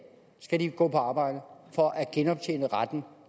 skal gå på arbejde for at genoptjene retten